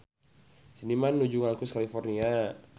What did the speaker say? Seniman nuju ngalukis California